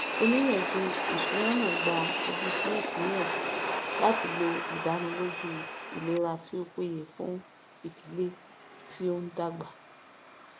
oníyànjú ìṣúná náà gba ẹbí smith níyànjú láti lo ìdánilójú ìlera tí ó péye fún ìdílé tí ń dàgbà